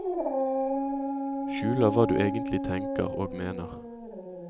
Skjuler hva du egentlig tenker og mener.